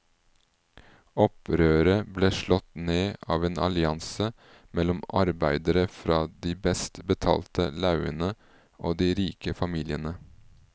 Opprøret ble slått ned av en allianse mellom arbeidere fra de best betalte laugene og de rike familiene.